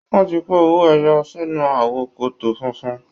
Wọ́n ti kó owó ẹyọ sínú àwo kòtò funfun.